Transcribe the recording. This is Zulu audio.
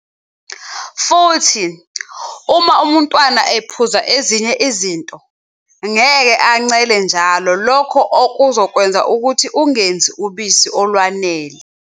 Futhi, uma umntwana ephuza ezinye izinto, ngeke ancele njalo lokho okuzokwenza ukuthi ungenzi ubisi olwanele.